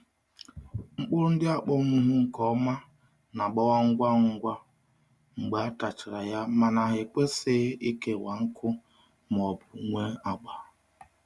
Mkpụrụ ndị akpọnwụwo nke ọma na-agbawa ngwa ngwa mgbe a tachara ya mana ha ekwesịghị ịkewa nkụ ma ọ bụ nwee agba.